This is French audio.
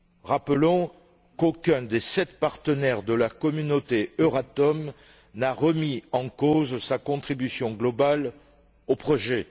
Rappelons qu'aucun des sept partenaires de la communauté EURATOM n'a remis en cause sa contribution globale au projet.